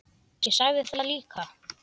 Ég sagði það líka.